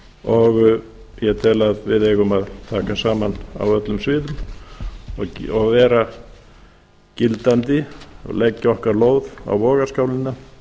og ég tel að við eigum að taka saman á öllum sviðum og vera gildandi og leggja okkar lóð á vogarskálina